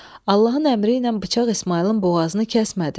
Allahın əmri ilə bıçaq İsmayılın boğazını kəsmədi.